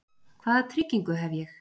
Hvaða tryggingu hef ég?